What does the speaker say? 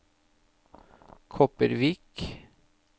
Kopervik